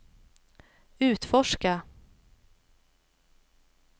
utforska